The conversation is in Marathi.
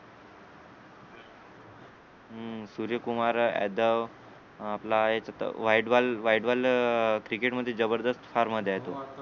हं सूर्यकुमार यादव अं आपला याच्यात वाइड बॉल वाइड बॉल अं क्रिकेट मध्ये जबरदस्त फॉम मध्ये आहे तो